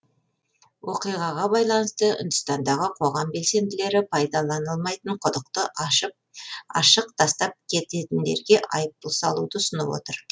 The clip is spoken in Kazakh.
оқиғаға байланысты үндістандағы қоғам белсенділері пайдаланылмайтын құдықты ашық тастап кететіндерге айыппұл салуды ұсынып отыр